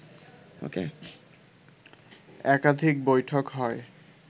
একাধিক বৈঠক হয়